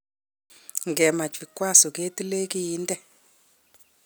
Ngemach vikwaso ketile kiinde